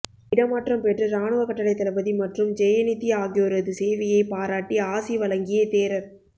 இடமாற்றம் பெற்று இராணுவ கட்டளைத்தளபதி மற்றும் ஜெயநித்தி ஆகியோரது சேவையை பாராட்டி ஆசி வழங்கிய தேரர்